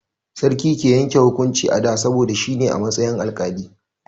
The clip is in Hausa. Sarki ke yanke hukunci a da, saboda shi ne a matsayin alƙali.